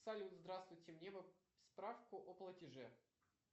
салют здравствуйте мне бы справку о платеже